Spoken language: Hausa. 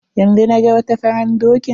Yanzu naga wata faran dokin.